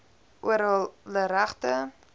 oor hulle regte